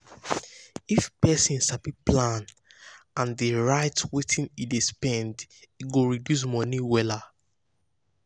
if person sabi plan and plan and um dey write wetin e dey spend e go reduce money wahala.